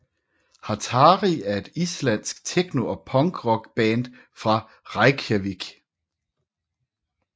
Hatari er et islandsk techno og punk rock band fra Reykjavík